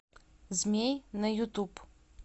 змей на ютуб